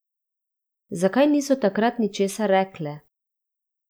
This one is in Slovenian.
Zakaj niso takrat ničesar rekle?